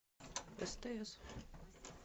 стс